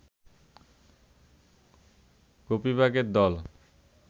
গোপীবাগের দল